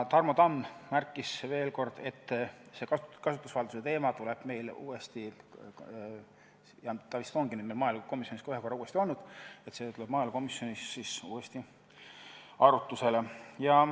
Tarmo Tamm märkis veel kord, et kasutusvalduse teema tuleb uuesti maaelukomisjonis arutlusele.